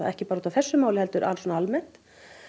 ekki bara í þessu máli heldur almennt